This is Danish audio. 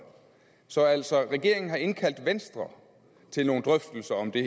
så altså regeringen har indkaldt venstre til nogle drøftelser om det